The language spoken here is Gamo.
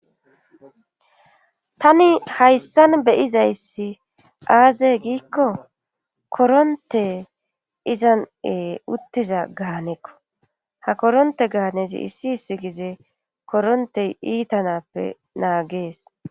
tani hayssan beyizayssi aazey giikko koronte izanee uttiza gaanekko ha koronte gaanezi issi issi gize koronte iitanappe naagees